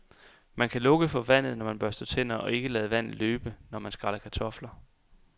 Man kan lukke for vandet, når man børster tænder og ikke lade vandet løbe, når man skræller kartofler.